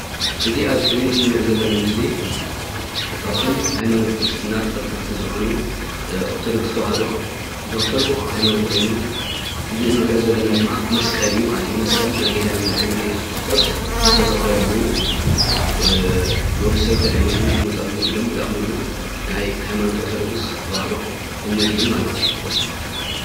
እዚ አብ እስክረን እንሪሪኦ ዘለና ምስሊ ካብቶም ሃይማኖት ክርስትና ተኸተልቲ ዝኾኑ ኦርቶዶክስ ተዋህዶ ዝኽተልዎ ሃይማኖት ኮይኑ፣ እዚ እንሪኦ ዘለና ድማ መስቀል እዩ ማለት እዩ። መስቀል ናይ ጎይታና መድሓኒና እየሱስ ክርስቶስ ዝተሰቐለሉ ንወዲ ሰብ ከድሕን ኢሉ ዝመፀሉ ኢሎም ዝኣምንሉ ናይ ሃይማኖት ኦርቶዶክስ ተዋህዶ እምነት እዩ ማለት እዩ።